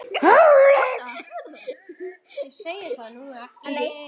Ég segi það nú ekki.